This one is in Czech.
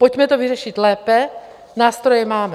Pojďme to vyřešit lépe, nástroje máme.